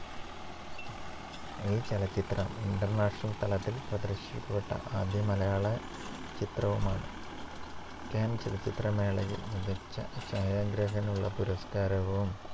ഈ ചലച്ചിത്രം international തലത്തിൽ പ്രദർശിപ്പിക്കപ്പെട്ട ആദ്യ മലയാളചിത്രവുമാണ് caan ചലച്ചിത്രമേളയിൽ മികച്ച ഛായാഗ്രാഹകനുള്ള പുരസ്കാരവും,